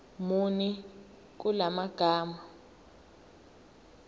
muni kula magama